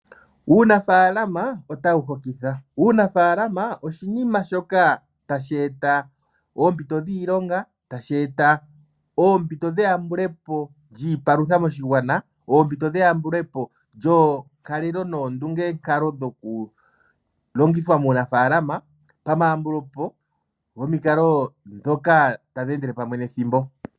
Uunafaalama otawu hokitha, Uunafalama oshinima shoka tashi eta oompito dhiilonga, tashi eta oompito dheyambule po lyiipalutha moshigwana, oompito dheyambule po lyoo nkalelo noondunge nkalo dhoku longithwa muunaafala pa ma yambule po gomikalo dhoka tadhi endele pamwe nethimbo.